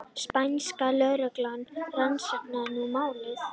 Spænska lögreglan rannsakar nú málið